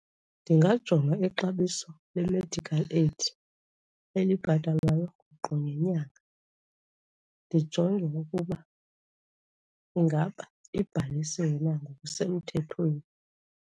Ndingajonga ixabiso le-medical aid elibhatalwayo qho ngenyanga, ndijonge ukuba ingaba ibhalisiwe na ngokusemthethweni.